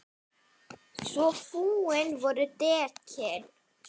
Svo fúin voru dekkin.